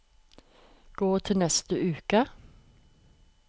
gå til neste uke